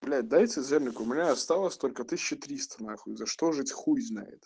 блять дайте денег у меня осталось только тысяча триста нахуй за что жить хуй знает